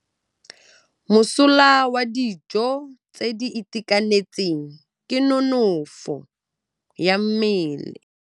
Mosola wa dijô tse di itekanetseng ke nonôfô ya mmele.